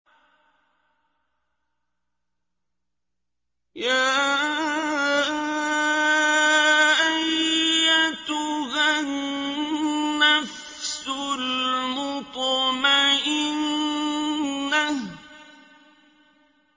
يَا أَيَّتُهَا النَّفْسُ الْمُطْمَئِنَّةُ